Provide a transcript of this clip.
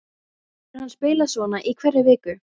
Getur hann spilað svona í hverri viku?